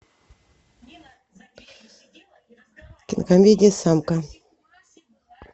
кинокомедия самка